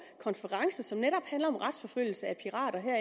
konference som netop handler om retsforfølgelse af pirater her